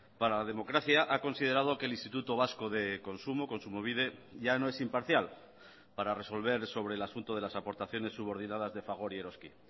para la democracia ha considerado que el instituto vasco de consumo kontsumobide ya no es imparcial para resolver sobre el asunto de las aportaciones subordinadas de fagor y eroski